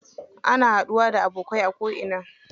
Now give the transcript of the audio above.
Ana haɗuwa da abokai a ko ina.